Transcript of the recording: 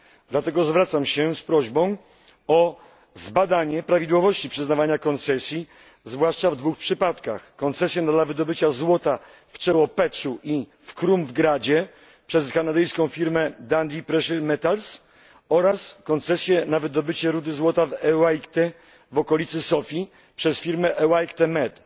Dlatego zwracam się z prośbą o zbadanie prawidłowości przyznawania koncesji zwłaszcza w dwóch przypadkach koncesji na wydobycie złota w Czełopeczu i w Krumovgradzie przez kanadyjską firmę Dundee Precious Metals oraz koncesji na wydobycie rudy złota w okolicy Sofii przez firmę Elacite Med.